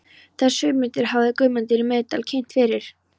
Þessar hugmyndir hafði Guðmundur í Miðdal kynnt fyrir